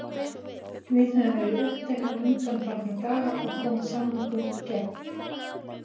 Við höfum verið uppteknir undanfarna daga að koma samningum í gegn.